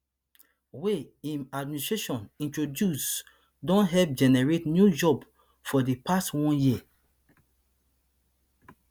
wey im administration introduce don help generate new jobs for di past one year